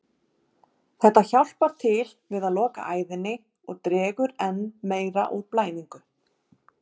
Þetta hjálpar til við að loka æðinni og dregur enn meir úr blæðingu.